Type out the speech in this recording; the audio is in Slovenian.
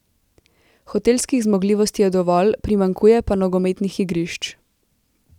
Hotelskih zmogljivosti je dovolj, primanjkuje pa nogometnih igrišč.